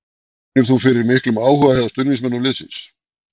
Finnur þú fyrir miklum áhuga hjá stuðningsmönnum liðsins?